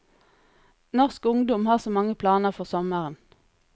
Norsk ungdom har så mange planer for sommeren.